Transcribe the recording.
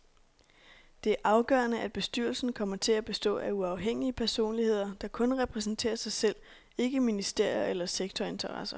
Det er afgørende, at bestyrelsen kommer til at bestå af uafhængige personligheder, der kun repræsenterer sig selv, ikke ministerier eller sektorinteresser.